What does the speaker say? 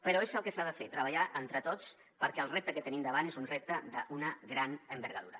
però és el que s’ha de fer treballar entre tots perquè el repte que tenim davant és un repte d’una gran envergadura